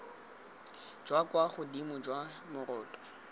jwa kwa godimo jwa moroto